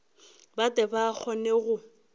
ba tle ba kgone go